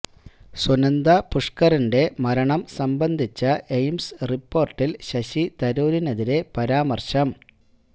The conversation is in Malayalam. സുനന്ദ പുഷ്കറിന്റെ മരണം സംബന്ധിച്ച എയിംസ് റിപ്പോര്ട്ടില് ശശി തരൂരിനെതിരെ പരാമര്ശം